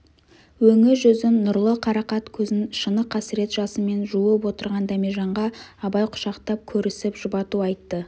өңі-жүзін нұрлы қарақат көзін шыны қасірет жасымен жуып отырған дәмежанға абай құшақтап көрісіп жұбату айтты